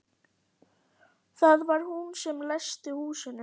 Það var hún sem læsti húsinu.